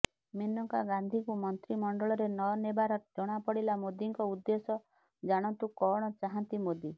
ମେନକା ଗାନ୍ଧୀଙ୍କୁ ମନ୍ତ୍ରୀମଣ୍ଡଳରେ ନ ନେବାରେ ଜଣାପଡିଲା ମୋଦିଙ୍କ ଉଦ୍ଦେଶ୍ୟ ଜାଣନ୍ତୁ କଣ ଚାହାନ୍ତି ମୋଦି